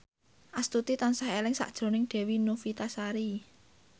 Astuti tansah eling sakjroning Dewi Novitasari